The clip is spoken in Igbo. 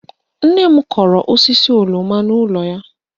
Nne m kọrọ osisi oroma n'ụlọ anyị